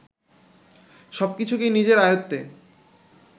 সব কিছুকেই নিজেদের আয়ত্তে